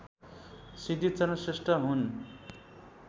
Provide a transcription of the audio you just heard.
सिद्धिचरण श्रेष्ठ हुन्